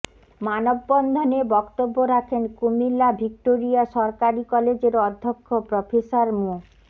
মানববন্ধনে বক্তব্য রাখেন কুমিল্লা ভিক্টোরিয়া সরকারি কলেজের অধ্যক্ষ প্রফেসর মো